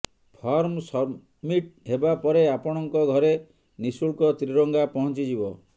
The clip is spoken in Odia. ଫର୍ମ ସବମିଟ୍ ହେବା ପରେ ଆପଣଙ୍କ ଘରେ ନିଶୁଳ୍କ ତ୍ରିରଙ୍ଗା ପହଞ୍ଚିଯିବ